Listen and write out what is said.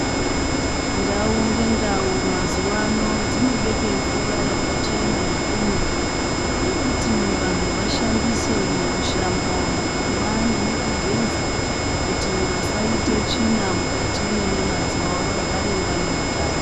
Ndau ngendau mazuwano dzinobekwe mvura yakachena yekumwa yekuti vanhu vashandise mukushamba, mukumwa nemukugeza kuti vasaite tsvina mukati mwenyama dzawo vagare vane utano.